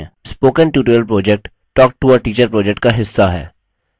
spoken tutorial project talktoateacher project का हिस्सा है